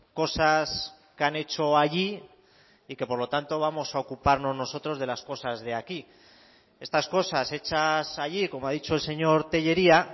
cosas que han hecho allí y que por lo tanto vamos a ocuparnos nosotros de las cosas de aquí estas cosas hechas allí como ha dicho el señor tellería